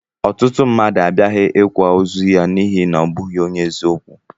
Ọtụtụ mmadụ abiaghi ikwa ozu ya n'ihi na ọ bụghị onye eziokwu